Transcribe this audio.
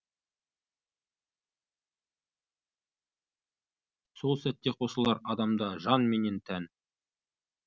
сол сәтте қосылар адамда жан менен тән